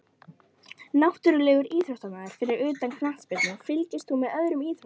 Náttúrulegur íþróttamaður Fyrir utan knattspyrnu, fylgist þú með öðrum íþróttum?